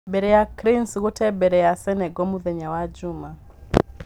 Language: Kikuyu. Mbere ya Cranes gũte mbere ya Senegal mũthenya wa Juma